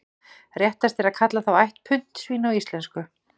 Réttast er að kalla þá ætt puntsvín á íslensku.